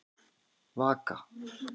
Vaka